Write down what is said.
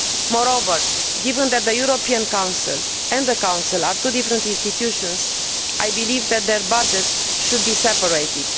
Moreover, given that the European Council and the Council are two different institutions, I believe that their budgets should be separated.